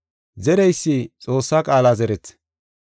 Zereysi Xoossaa qaala zerees.